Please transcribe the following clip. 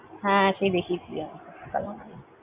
হ্যাঁ, সেই দেখিয়ে ছিলি আমায় Calamari ।